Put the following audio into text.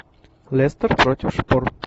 лестер против шпор